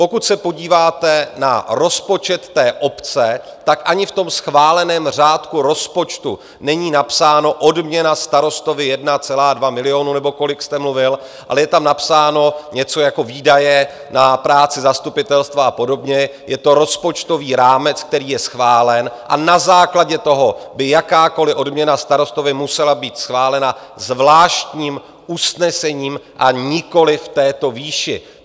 Pokud se podíváte na rozpočet té obce, tak ani v tom schváleném řádku rozpočtu není napsáno "odměna starostovi 1,2 milionu" nebo kolik jste mluvil, ale je tam napsáno něco jako "výdaje na práci zastupitelstva" a podobně, je to rozpočtový rámec, který je schválen, a na základě toho by jakákoli odměna starostovi musela být schválena zvláštním usnesením, a nikoli v této výši.